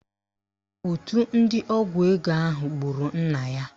Òtù ndị ọgwụ ego ahụ gburu nna ya